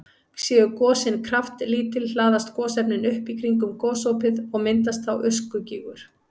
Séu gosin kraftlítil hlaðast gosefnin upp í kringum gosopið og myndast þá öskugígur.